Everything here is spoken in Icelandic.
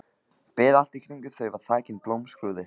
Beð allt í kringum þau þakin blómskrúði.